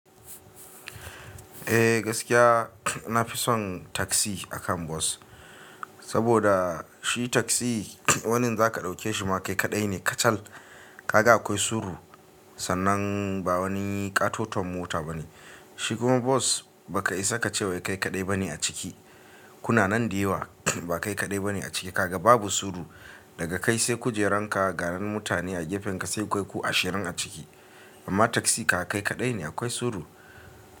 Eh gaskiya na fi son taksi akan bus saboda shi taksi wannan za ka ɗauke shi ma kai kaɗai ne kacal. Kaga akwai suru sannan ba wani katoton mota ba ne. Shi kuma bos ba ka isa ka ce wai kai kaɗai bane a ciki. Kuna nan da yawa ba kai kaɗai bane a ciki. Kaga babu suru daga kai sai kujeranka, ganan mutane a gefenka sai kai ku ashirin a ciki. Amma taksi ka kaɗai ne akwai suru.